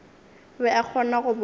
be a kgona go bona